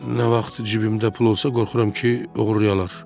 Nə vaxt cibimdə pul olsa, qorxuram ki, oğurlayalar.